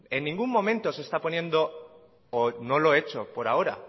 en ningún momento se está poniendo o no lo he hecho por ahora